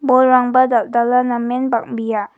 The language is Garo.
bolrangba dal·dala namen bang·bia .